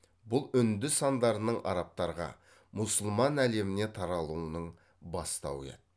бұл үнді сандарының арабтарға мұсылман әлеміне таралуының бастауы еді